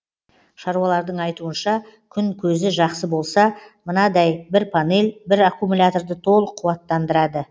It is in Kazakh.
шаруалардың айтуынша күн көзі жақсы болса мынадай бір панель бір аккумуляторды толық қуаттандырады